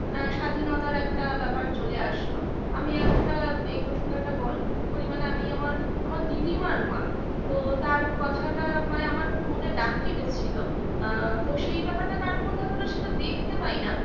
আ স্বাধীনতার একটা ব্যাপার চলে আসলো আমি একটা এই প্রসঙ্গে একটা গল্প কি পরিমানেআমি আমার দিদিমার মা তো তার কথাটা মানে আমার খুব মনে দাগ কেটেছিল আ তো সেই ব্যাপারটাকে কারুর মধ্যে আর সেটা দেখতে পাই না